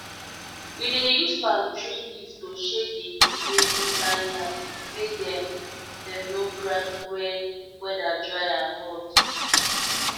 we dey use palm tree leaf to shade the heap wey we plant yam make dem dem no crack wen weather dry and hot